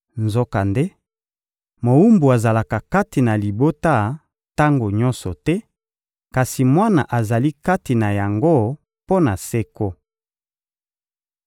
Nzokande, mowumbu azalaka kati na libota tango nyonso te, kasi mwana azali kati na yango mpo na seko.